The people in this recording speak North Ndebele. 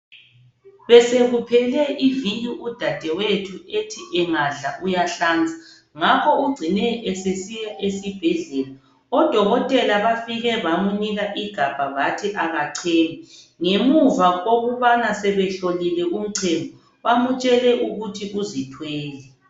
Besekuphele iviki udadewethu ethi engadla uyahlanza ngakho ugcine esesiya esibhedlela odokotela bafike bamnika ugabha bathi akacheme ngemuva kokubana sebehlolile umchemo bamutshele ukuthi uzithwele.